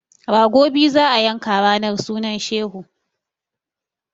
Rago biyu za a yanka ranar sunan shehu!